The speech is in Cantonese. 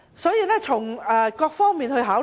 所以，從各方面來考慮......